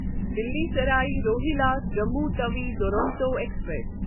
Delhi Sarai Rohilla Jammu Tawi Duronto express